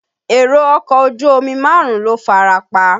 Èrò ọkọ̀ ojú omi márùn-ún ló farapa.